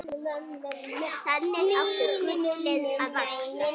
Þannig átti gullið að vaxa.